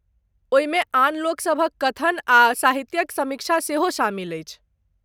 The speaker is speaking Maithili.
ओहिमे आन लोकसभक कथन आ साहित्यक समीक्षा सेहो शामिल अछि।